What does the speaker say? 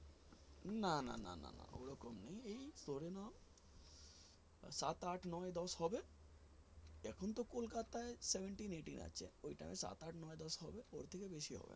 না না না না না ওইরকম নেই এই ধরে নাও সাত আট নয় দশ হবে এখন তো কোলকাতায় seventeen eighteen আছে ওই টাইমে সাত আট নয় দশ হবে ওর থেকে বেশি হবে না।